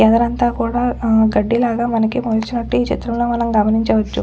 ఏదరంతా కూడా ఆ గడ్డిలాగా మనకి మొలిచినట్లు ఈ చిత్రం లో మనం గమనించవచ్చు.